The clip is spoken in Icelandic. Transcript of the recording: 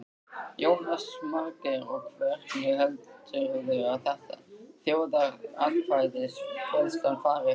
Jónas Margeir: Og hvernig heldurðu að þjóðaratkvæðagreiðslan fari?